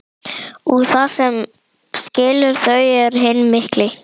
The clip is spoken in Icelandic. Og það sem skilur þau að er hinn mikli